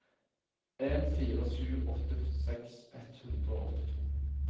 en fire sju åtte førtiseks ett hundre og åttito